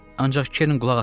Ancaq Keren qulaq asmadı.